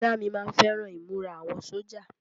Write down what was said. Bọ̀dá mi má ń fẹ́ràn ìmúra àwọn sójà